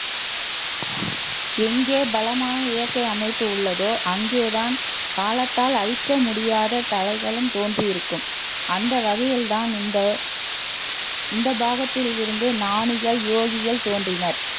எங்கே பலமான இயற்கை அமைப்பு உள்ளதோ அங்கேதான் காலத்தால் அழிக்க முடியாத தலைகளும் தோன்றியிருக்கும் அந்த வகையில்தான் இந்த இந்த பாகத்தில் இருந்தே ஞானிகள், யோகிகள் தோன்றினர்